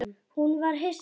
Hún var hissa á því.